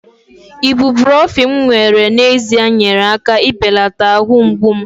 ibuprofen m were n'ezie nyeere aka ibelata ahụ mgbu m